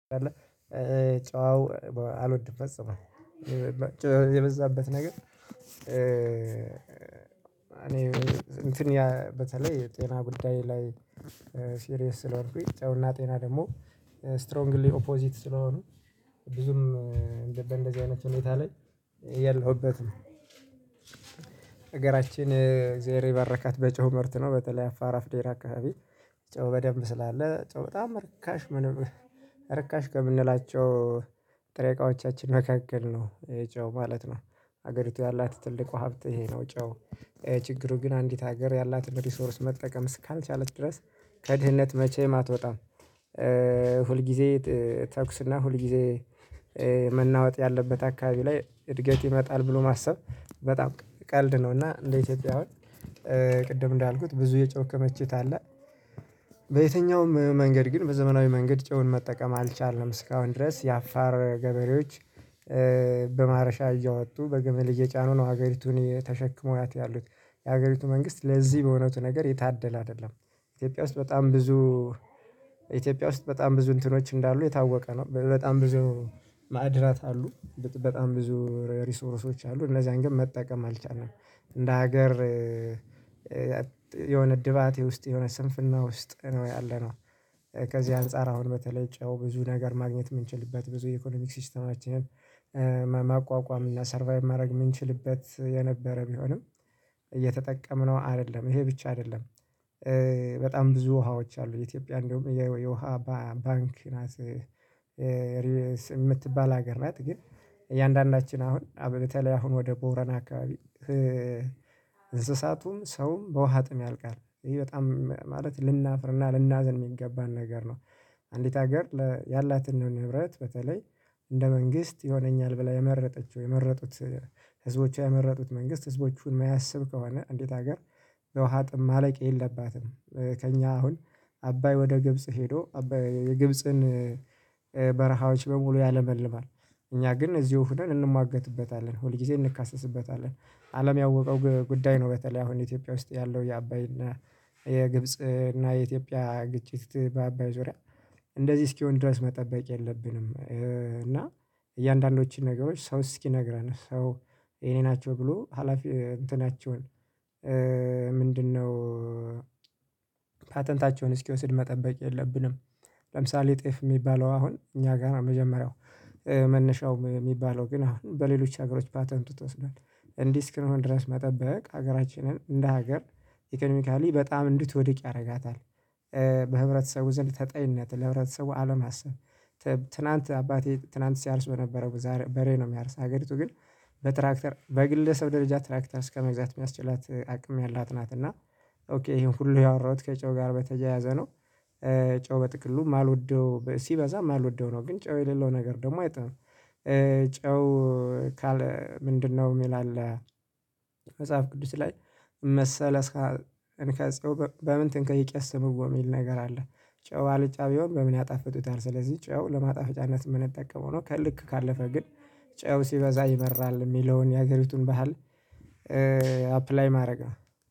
ጨው አልወድም ፈጽሞ ጨው የበዛበት ነገር እኔ እንትን በተለይ የጤና ጉዳይ ላይ ሲሪየስ ስለሆንኩኝ ጨው አና ጤና ደግሞ ስትሮንግሊ ኦፖዚት ስለሆኑ ብዙም በእንደዚህ አይነት ሁኔታ ላይ የለሁበትም። አገራችን እግዚአብሔር የባረካት በጨው ምርት ነው በተለይ አፋራ አፍዴራ አካባቢ ጨው በደንብ ስላለ ጨው በጣም ርካሽ ምንም ርካሽ ከምንላቸው ጥሬ እቃዎቻችን መካከል ነው ጨው ማለት ነው። ሀገሪቱ ያላት ትልቁ ሀብት ይሄ ነው። ጨው ችግሩ ግን አንዲት ሀገር ያላትን ሪሶርስ መጠቀም እስካልቻለች ድረስ ከድህነት መቼም አትወጣም። ሁልጊዜ ተኩስና ሁልጊዜ መናወጥ ያለበት አካባቢ ላይ እድገት ይመጣል ብሎ ማሰብ በጣም ቀልድ ነው። እና እንደ ኢትዮጵያ አሁን ቅድም እንዳልኩት ብዙ የጨው ክምችት አለ። በየትኛውም መንገድ ግን በዘመናዊ መንገድ ጨውን መጠቀም አልቻልንም እስካሁን ድረስ የአፋር ገበሬዎች በማረሻ እያወጡ በግምል እየጫኑ ነው ሀገሪቱን የተሸክምዋት ያሉት። የሀገሪቱ መንግስት ለዚህ በእውነቱ ነገር የታደለ አይደለም። ኢትዮጵያ ውስጥ በጣም ብዙ ኢትዮጵያ ውስጥ በጣም ብዙ እንትኖች እንዳሉ የታወቀ ነው በጣም ብዙ ማዕድናት አሉ በጣም ብዙ ሪሶርሶች አሉ እነዛን ግን መጠቀም አልቻልንም። እንደ ሀገር የሆነ ድባቴ ውስጥ የሆነ ስንፍና ውስጥ ነው ያለነው። ከዚህ አንፃር አሁን በተለይ ጨው ብዙ ነገር ማግኘት ምንችልበት ብዙ የኢኮኖሚክ ሲስተማችንን ማቋቋም እና ሰርቫይቭ ማድረግ የምንችልበት የነበረ ቢሆንም እየተጠቀምነው አይደለም ይሄ ብቻ አይደለም። በጣም ብዙ ውሃዎች አሉ የኢትዮጵያ እንደውም የውሃ ባንክ ናት የምትባል ሀገር ናት ግን። እያንዳንዳችን አሁን አ በተለይ አሁን ወደ ቦረን አካባቢ እንስሳቱም ሰውም በውሃ ጥም ያልቃል ይሄ በጣም ማለት ልናፍርና ልናዝን የሚገባን ነገር ነው። አንዲት ሀገር ያላትን ንብረት በተለይ እንደ መንግስት ይሆነኛል ብላ የመረጠችው የመረጡት ህዝቦቿ የመረጡት መንግስት ህዝቦቹን የማያስብ ከሆነ እንዴት ሀገር ለውሃ ጥም ማለቅ የለባትም? ከእኛ አሁን አባይ ወደ ግብጽ ሄዶ አባይ የግብጽን በረሃዎች በሙሉ ያለመልማል። እኛ ግን እዚሁ ሆነን እንሟገትበታለን ሁል ጊዜ እንካሰስበታለን። አለም ያወቀው ጉዳይ ነው። በተለይ አሁን ኢትዮጵያ ውስጥ ያለው የአባይና የግብጽ እና የኢትዮጵያ ግጭት በአባይ ዙሪያ እንደዚህ እስኪሆን ድረስ መጠበቅ የለብንም። እና እያንዳንዶችን ነገሮች ሰው እስኪነግረን ሰው ይሄ ናቸው ብሎ ሀላፊ እንትናቸውን ምንድነው? ፓተንታቸውን እስኪወስድ መጠበቅ የለብንም። ለምሳሌ ጤፍ የሚባለው አሁን እኛ ጋር ነው መጀመሪያው መነሻው የሚባለው ግን አሁን በሌሎች ሀገሮች ፓተንት ተወስዷል። እንዲህ ስክንሆን ድረስ መጠበቅ ሀገራችንን እንደ ሀገር ኢኮኖሚካሊ በጣም እንድትወድቅ ያደርጋታል። በህብረተሰቡ ዘንድ ተጠይነት ለህብረተሰቡ አለማሰብ። ትላንት አባቴ ትላንት ሲያርስ በነበረው በሬ ነው የሚያርስ ሀገሪቱ ግን በትራክተር በግለሰብ ደረጃ ትራክተር እስከመግዛት የሚያስችላት አቅም ያላት ናት። እና ኦኬ ይሄን ሁሉ ያወራሁት ከጨው ጋር በተያያዘ ነው። ጨው በጥቅሉ የማልወደው ሲበዛ የማልወደው ነው። ግን ጨው የሌለው ነገር ደግሞ አይጥምም። ጨው ካለ ምንድነው የሚል አለ? መጽሐፍ ቅዱስ ላይ መሰለህ እስከ እኔ ከጸውበ በምን ትንከን ይቅስዉበ የሚል ነገር አለ። ጨው አልጫ ቢሆን በምን ያጣፍጡታል ስለዚህ ጨው ለማጣፈጫነት የምንጠቀመው ነው። ከልክ ካለፈ ግን ጨው ሲበዛ ይመራል የሚለውን የሀገሪቱን ባህል አፕላይ ማድረግ